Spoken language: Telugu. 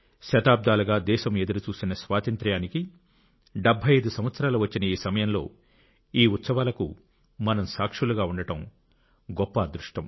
శతాబ్దాలుగా దేశం ఎదురుచూసిన స్వాతంత్ర్యానికి 75 సంవత్సరాలు వచ్చిన ఈ సమయంలో ఈ ఉత్సవాలకు మనం సాక్షులుగా ఉండడం మన గొప్ప అదృష్టం